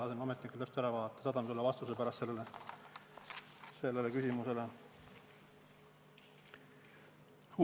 Ma lasen ametnikel täpselt ära vastata, saadan vastuse sellele küsimusele hiljem.